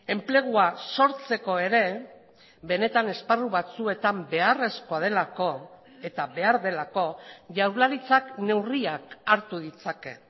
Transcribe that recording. enplegua sortzeko ere benetan esparru batzuetan beharrezkoa delako eta behar delako jaurlaritzak neurriak hartu ditzake